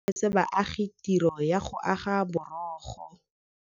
Masepala o neetse baagi tirô ya go aga borogo.